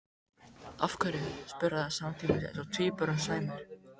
Af hverju? spurðu þær samtímis eins og tvíburum sæmir.